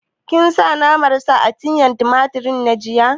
Kin sa naman sa a miyan tumatir na jiya?